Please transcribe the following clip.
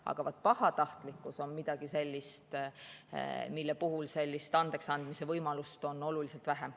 Aga vaat pahatahtlikkus on midagi sellist, mille puhul sellist andeksandmise võimalust on oluliselt vähem.